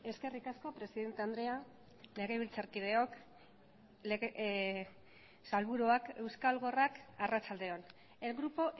eskerrik asko presidente andrea legebiltzarkideok sailburuak euskal gorrak arratsalde on el grupo